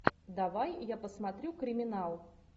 давай я посмотрю криминал